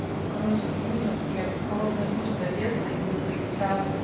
короче ужас я под холодный душ залезла и мне полегчало